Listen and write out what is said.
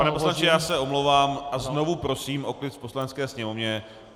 Pane poslanče, já se omlouvám a znovu prosím o klid v Poslanecké sněmovně.